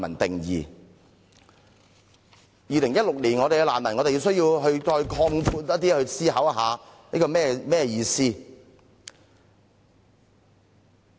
到了2016年，我們必須擴闊我們對難民問題的思考。